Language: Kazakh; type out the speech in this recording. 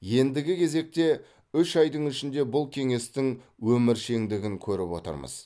ендігі кезекте үш айдың ішінде бұл кеңестің өміршеңдігін көріп отырмыз